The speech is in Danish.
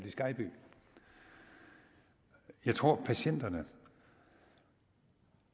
i skejby jeg tror at patienterne